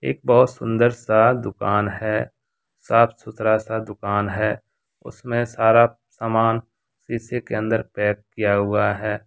एक बहुत सुंदर सा दुकान है साफ सुथरा सा दुकान है उसमे सारा सामान शीशे के अंदर पैक किया हुआ है।